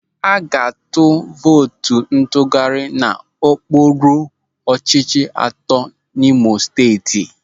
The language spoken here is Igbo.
A ga-atụ vootu ntụgharị n'okpuru ọchịchị atọ n'Imo Steeti.